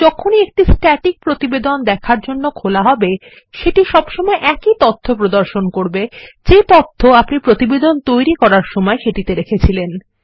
যখনই একটি স্ট্যাটিক প্রতিবেদন দেখার জন্য খোলা হবে সেটিসবসময় একই তথ্য প্রদর্শন করবেযে তথ্য আপনিপ্রতিবেদনটিতৈরি করার সময়সেটিতে রেখেছিলেন